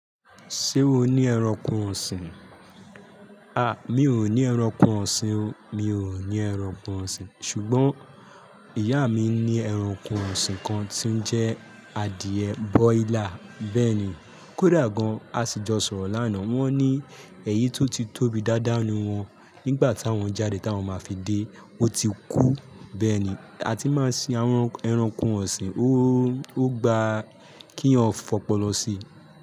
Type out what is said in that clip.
Ṣé o ní ẹranko ọ̀sìn? A! Mi ò ní ẹranko ọ̀sìn o. Mi ò ní ẹranko ọ̀sìn. Ṣùgbọ́n ìyá mi ní ẹranko ọ̀sìn kan tí ó ń jẹ́ adìẹ bọ́ílà bẹ́ẹ̀ ni. Kódà gan, a sì jọ sọ̀rọ̀ lánàá. Wọ́n ní eyi tó ti tóbi dáadáa ni wọ́n. Nígbà tá wọ́n jáde tá ń máa fi dé, ó ti kú bẹ́ẹ̀ ni. A ti máa sin àwọn ẹranko ọ̀sìn. Ó gba kí èyán fọ́pọ̀ lọ sí.